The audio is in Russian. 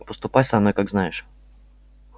поступай со мной как знаешь